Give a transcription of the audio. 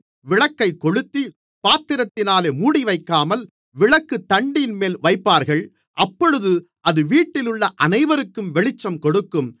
விளக்கைக் கொளுத்தி பாத்திரத்தினாலே மூடிவைக்காமல் விளக்குத்தண்டின்மேல் வைப்பார்கள் அப்பொழுது அது வீட்டிலுள்ள அனைவருக்கும் வெளிச்சம் கொடுக்கும்